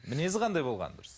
мінезі қандай болғаны дұрыс